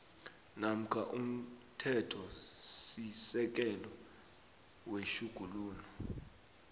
namkha umthethosisekelo wetjhuguluko